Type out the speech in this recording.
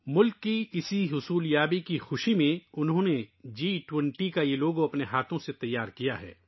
ملک کی ، اس کامیابی کی خوشی میں ، انہوں نے جی 20 کا یہ لوگو اپنے ہاتھوں سے تیار کیا ہے